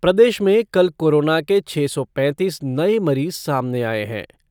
प्रदेश में कल कोरोना के छः सौ पैंतीस नए मरीज सामने आए हैं।